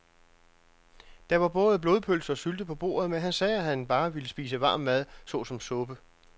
Der var både blodpølse og sylte på bordet, men han sagde, at han bare ville spise varm mad såsom suppe.